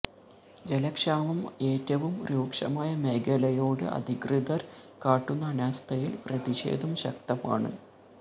ജലക്ഷാമം ഏറ്റവും രൂക്ഷമായ മേഖലയോട് അധികൃതര് കാട്ടുന്ന അനാസ്ഥയില് പ്രതിഷേധം ശക്തമാണ്